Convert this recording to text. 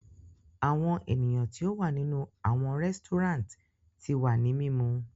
Awọn eniyan ti o wa ninu awọn resturant ti wa ni mimu